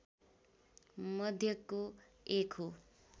मध्येको एक हो